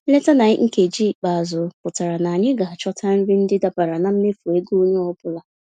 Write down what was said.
Nleta na nkeji ikpeazụ pụtara na anyị ga-achọta nri ndị dabara na mmefu ego onye ọ bụla.